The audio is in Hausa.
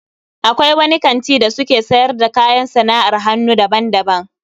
Akwai wani kanti da suke siyar da kayan sana'ar hannu daban-daban